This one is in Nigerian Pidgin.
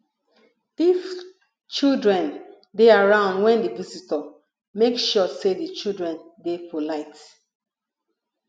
if children dey around when di visitor make sure sey di children dey polite